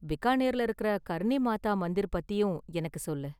பிகானேர்ல இருக்கற கர்ணி மாதா மந்திர் பத்தியும் எனக்கு சொல்லு.